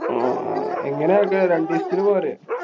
ങ്ഹാ ഹാ ഏങ്ങനെ ആക്കാ? രണ്ടീസത്തിനു പോരെ?